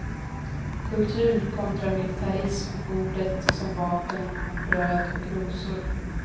Kultur kontra militarism ordet som vapen bröd och rosor.